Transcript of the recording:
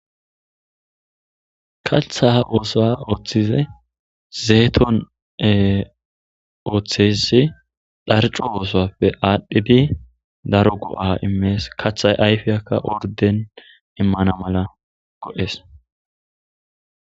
Katha oos ooththize zeeton e ooththesi dharco oosappe aadhphibi daro go'a immees kathay ayfiyakka orden immana mala go'es.